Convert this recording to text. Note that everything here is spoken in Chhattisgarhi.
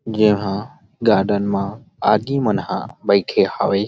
यहां गार्डन मा आगी मन हा बइठे हवे।